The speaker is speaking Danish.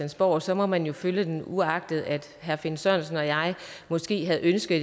og så må man jo følge den uagtet at herre finn sørensen og jeg måske havde ønsket